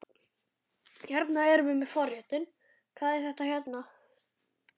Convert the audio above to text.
Hérna erum við með forréttinn, hvað er þetta hérna?